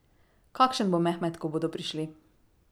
Kakšen bo Mehmet, ko bodo prišli?